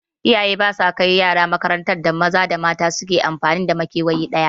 Iyaye ba sa kai yara makarantar da maza da mata su ke amfani da makewayi ɗaya